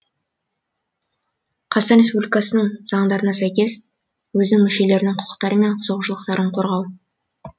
қазақстан республикасының заңдарына сәйкес өзінің мүшелерінің құқықтары мен қызығушылықтарын қорғау